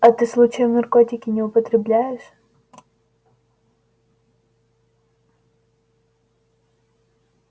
а ты случаем наркотики не употребляешь